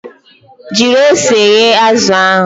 Jiri ose yee azụ ahụ!